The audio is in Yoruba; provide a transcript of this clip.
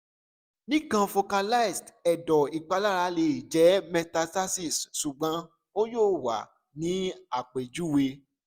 nikan focalized ẹdọ ipalara le jẹ metastases sugbon o yoo wa ni apejuwe